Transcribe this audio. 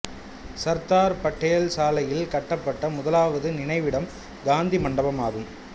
சர்தார் பட்டேல் சாலையில் கட்டப்பட்ட முதலாவது நினைவிடம் காந்தி மண்டபமாகும்